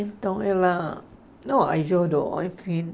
Então, ela... Não, aí chorou, enfim.